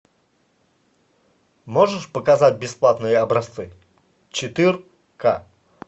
можешь показать бесплатные образцы четыр ка